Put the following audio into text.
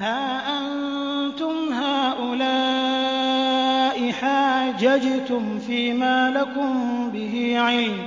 هَا أَنتُمْ هَٰؤُلَاءِ حَاجَجْتُمْ فِيمَا لَكُم بِهِ عِلْمٌ